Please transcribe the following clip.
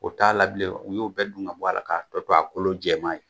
O t'a la bilen u y'o bɛɛ dun ga bɔ a la k'a tɔ to a kolo jɛman ye.